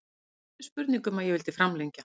Það var aldrei spurning um að ég vildi framlengja.